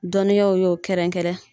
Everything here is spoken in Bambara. Dɔnniyaw y'o kɛrɛnkɛrɛn